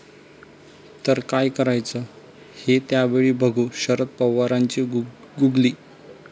...तर काय करायचं हे त्यावेळी बघू, शरद पवारांची गुगली